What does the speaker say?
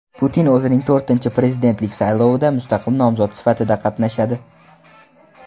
Putin o‘zining to‘rtinchi prezidentlik saylovida mustaqil nomzod sifatida qatnashadi.